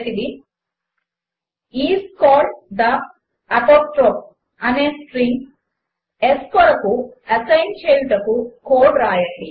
1 is called the apostrophe అనే string s కొరకు assign చేయుటకు కోడ్ వ్రాయండి